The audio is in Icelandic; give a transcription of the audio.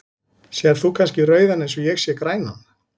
Sérð þú kannski rauðan eins og ég sé grænan?